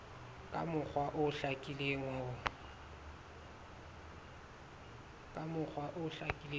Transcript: ka mokgwa o hlakileng ho